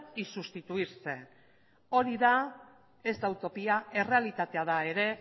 y sustituirse hori da ez da utopia errealitatea da ere